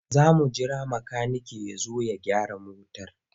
Za mu jira makaniken ya zo ya gyara motar.